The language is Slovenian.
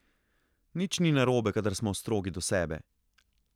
Nič ni narobe, kadar smo strogi do sebe.